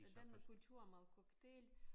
Hvordan er kulturen med cocktail